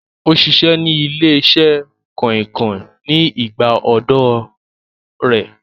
Ó ṣiṣẹ́ ní ilé-iṣẹ́ kànrìnkàn ní ìgbà ọ̀dọ́ ọ rẹ̀